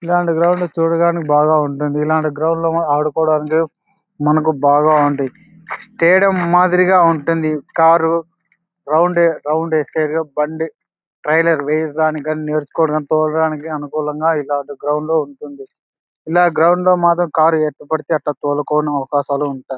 ఇలాంటి గ్రౌండ్ చూడగానే బాగా ఉంటుందు ఇలాంటి గ్రౌండ్ చూడగానే ఆడుకోవడానికి మనకి బాగా ఉంది తేడా మాదిరిగా ఉంటుంది కారు రౌండ్ రౌండ్ వేశాది బండి ట్రైలర్ వేయడానికి నేర్చుకోవడానికి తోలడానికి అనుకూలంగా ఇలాంటి గ్రౌండ్ లో ఉంటుంది ఇలాంటి గ్రౌండ్ లో మాత్రం కార్ ఎట్ట పడితే అట్టు తోలుకోవడానికి అవకాశాలు ఉంటాయి.